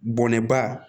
Bɔnɛba